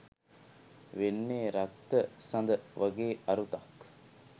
වෙන්නේ “රක්ත සද” වගේ අරුතක්.